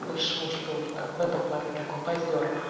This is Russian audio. бывший муж был в этом плане такой позёр